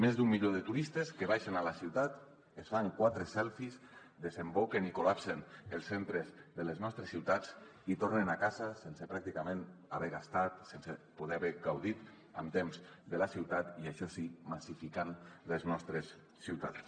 més d’un milió de turistes que baixen a la ciutat es fan quatre selfies desemboquen i col·lapsen els centres de les nostres ciutats i tornen a casa sense pràcticament haver gastat sense poder haver gaudit amb temps de la ciutat i això sí massificant les nostres ciutats